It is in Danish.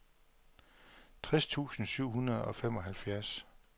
tres tusind syv hundrede og femoghalvfjerds